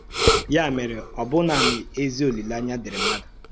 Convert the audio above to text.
Yà mèrè, ọ bụ̀ nanị ézì òlílèàńyà dị̀írí mmádụ̀